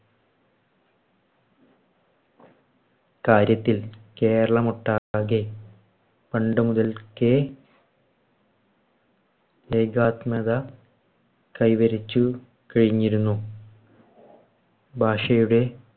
കാര്യത്തിൽ കേരളമൊട്ടാകെ പണ്ടുമുതൽക്കേ ഏകാത്മക കൈവരിച്ചു കഴിഞ്ഞിരുന്നു. ഭാഷയുടെ